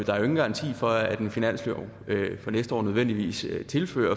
der er jo ingen garanti for at en finanslov for næste år nødvendigvis tilfører